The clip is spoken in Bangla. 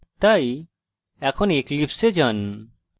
তাই এখন eclipse এ যান